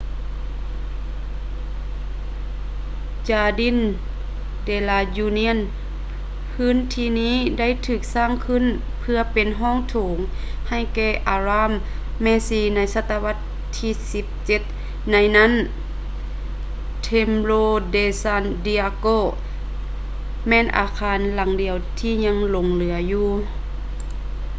jardín de la unión ພື້ນທີ່ນີ້ໄດ້ຖືກສ້າງຂຶ້ນເພື່ອເປັນຫ້ອງໂຖງໃຫ້ແກ່ອາຣາມແມ່ຊີໃນສະຕະວັດທີ 17 ໃນນັ້ນ templo de san diego ແມ່ນອາຄານຫລັງດຽວທີ່ຍັງຫຼົງເຫຼືອຢູ່